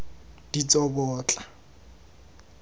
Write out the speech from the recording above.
ditsobotla